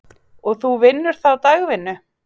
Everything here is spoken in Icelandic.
Og þú vinnur þá dagvinnu?